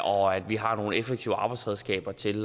og at vi har nogle effektive arbejdsredskaber til